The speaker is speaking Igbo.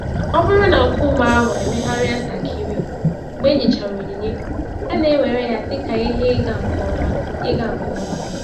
Ọ bụrụ na nkume ahụ emegharịa ntakịrị mgbe enyechara onyinye, a na-ewere ya dị ka ihe ịga nke ọma. ịga nke ọma.